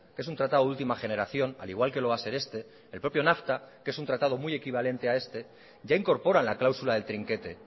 que es un tratado de última generación al igual que lo va a ser este el propio nafta que es un tratado muy equivalente a este ya incorpora la cláusula del trinquete